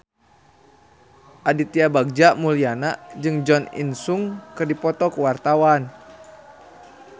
Aditya Bagja Mulyana jeung Jo In Sung keur dipoto ku wartawan